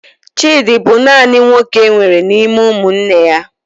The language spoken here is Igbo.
Chidi bụ naanị nwoke enwere n'ime ụmụnne ya.